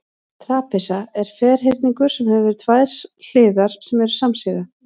trapisa er ferhyrningur sem hefur tvær hliðar sem eru samsíða